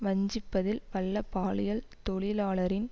வஞ்சிப்பதில் வல்ல பாலியல் தொழிலாளரின்